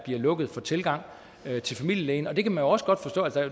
lukket for tilgang til familielægen og det kan man jo også godt forstå